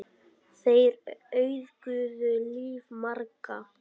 Þeir auðguðu líf margra.